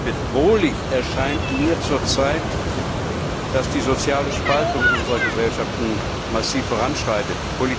Bedrohlich erscheint mir zurzeit, dass die soziale Spaltung unserer Gesellschaften massiv voranschreitet.